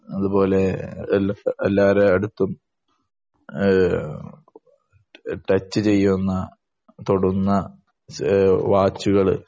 അതുപോലെ എല്ലാരെ അടുത്തും ഏഹ് ടച്ച് ചെയ്യുന്ന തൊടുന്ന വാച്ചുകള്